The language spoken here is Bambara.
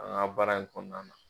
An ka baara in kɔnɔna na.